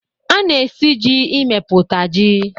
A na-esi ji emepụta ji.